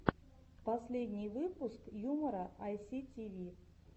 последний выпуск юмора айситиви